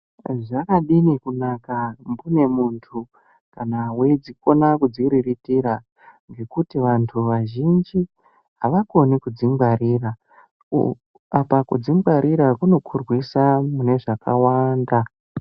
Zvakadini kunaka mbune muntu kana weidzikona kudziriritira ngekuti vantu vazhinji havakoni kudzingwarira apa kudzingwarira kunokurwisa mune zvakawanda.